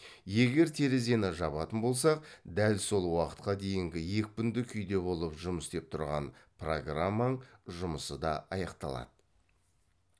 егер терезені жабатын болсақ дәл сол уақытқа дейін екпінді күйде болып жұмыс істеп тұрған программаң жұмысы да аяқталады